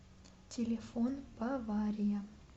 телефон бавария